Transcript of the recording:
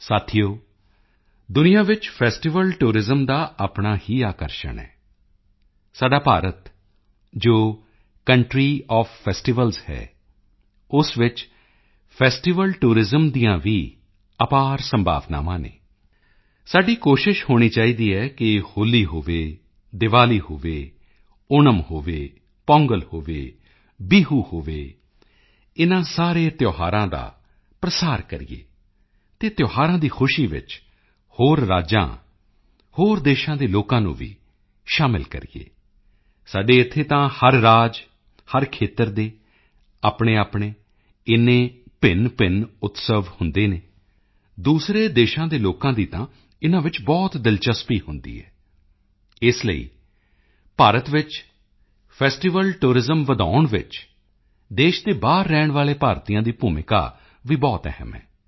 ਸਾਥੀਓ ਦੁਨੀਆ ਵਿੱਚ ਫੈਸਟੀਵਲ ਟੂਰਿਜ਼ਮ ਦਾ ਆਪਣਾ ਹੀ ਆਕਰਸ਼ਣ ਹੈ ਸਾਡਾ ਭਾਰਤ ਜੋ ਕੰਟਰੀ ਓਐਫ ਫੈਸਟੀਵਲਜ਼ ਹੈ ਉਸ ਵਿੱਚ ਫੈਸਟੀਵਲ ਟੂਰਿਜ਼ਮ ਦੀਆਂ ਵੀ ਅਪਾਰ ਸੰਭਾਵਨਾਵਾਂ ਹਨ ਸਾਡੀ ਕੋਸ਼ਿਸ਼ ਹੋਣੀ ਚਾਹੀਦੀ ਹੈ ਕਿ ਹੋਲੀ ਹੋਵੇ ਦੀਵਾਲੀ ਹੋਵੇ ਓਣਮ ਹੋਵੇ ਪੋਂਗਲ ਹੋਵੇ ਬਿਹੁ ਹੋਵੇ ਇਨ੍ਹਾਂ ਸਾਰੇ ਤਿਓਹਾਰਾਂ ਦਾ ਪ੍ਰਸਾਰ ਕਰੀਏ ਅਤੇ ਤਿਓਹਾਰਾਂ ਦੀ ਖੁਸ਼ੀ ਵਿੱਚ ਹੋਰ ਰਾਜਾਂ ਹੋਰ ਦੇਸ਼ਾਂ ਦੇ ਲੋਕਾਂ ਨੂੰ ਵੀ ਸ਼ਾਮਿਲ ਕਰੀਏ ਸਾਡੇ ਇੱਥੇ ਤਾਂ ਹਰ ਰਾਜ ਹਰ ਖੇਤਰ ਦੇ ਆਪਣੇਆਪਣੇ ਇੰਨੇ ਭਿੰਨਭਿੰਨ ਉਤਸਵ ਹੁੰਦੇ ਹਨ ਦੂਸਰੇ ਦੇਸ਼ਾਂ ਦੇ ਲੋਕਾਂ ਦੀ ਤਾਂ ਇਨ੍ਹਾਂ ਵਿੱਚ ਬਹੁਤ ਦਿਲਚਸਪੀ ਹੁੰਦੀ ਹੈ ਇਸ ਲਈ ਭਾਰਤ ਵਿੱਚ ਫੈਸਟੀਵਲ ਟੂਰਿਜ਼ਮ ਵਧਾਉਣ ਵਿੱਚ ਦੇਸ਼ ਦੇ ਬਾਹਰ ਰਹਿਣ ਵਾਲੇ ਭਾਰਤੀਆਂ ਦੀ ਭੂਮਿਕਾ ਵੀ ਬਹੁਤ ਅਹਿਮ ਹੈ